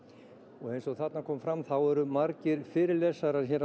og eins og þarna kom fram eru margir fyrirlesarar á